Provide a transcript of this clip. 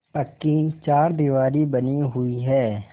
पक्की चारदीवारी बनी हुई है